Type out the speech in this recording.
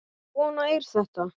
Svona er þetta.